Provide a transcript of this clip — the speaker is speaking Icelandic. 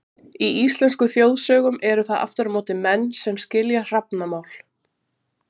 Í íslenskum þjóðsögum eru það aftur á móti menn sem skilja hrafnamál.